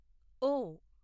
ఓ